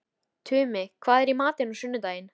Tumi, hvað er í matinn á sunnudaginn?